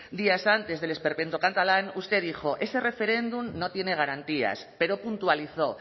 días antes del esperpento catalán usted dijo ese referéndum no tiene garantías pero puntualizó